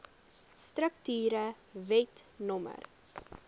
strukture wet no